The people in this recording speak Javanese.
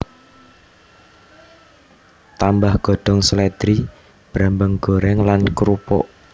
Tambah godhong slèdri brambang goreng lan krupuk